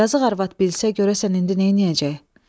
Yazıq arvad bilsə görəsən indi neyləyəcək?